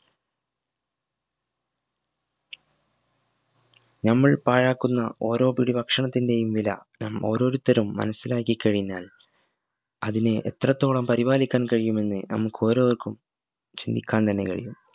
ഞമ്മൾ പാഴാക്കുന്ന ഓരോ പിടി ഭക്ഷണത്തിന്റെയും വില ഞം ഓരോരുത്തരും മനസിലാക്കി കഴിഞ്ഞാൽ അതിനെ എത്രത്തോളം പരിപാലിക്കാൻ കഴിയുമെന്ന് ഞമക് ഒരോർക്കും ചിന്തിക്കാൻ തന്നെ കഴിയും